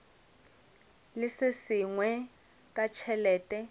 le se sengwe ka tšhelete